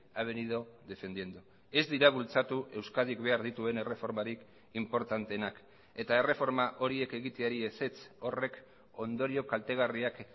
ha venido defendiendo ez dira bultzatu euskadik behar dituen erreformarik inportanteenak eta erreforma horiek egiteari ezetz horrek ondorio kaltegarriak